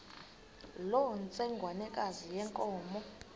loo ntsengwanekazi yenkomo